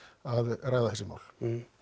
að ræða þessi mál